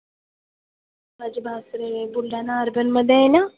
माझे बुलढाणा urban मधे आहे ना.